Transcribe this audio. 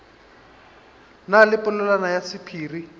na le polelwana ya sephiri